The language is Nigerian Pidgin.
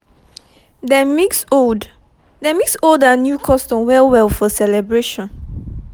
dem mix old dem mix old and new custom well well for celebration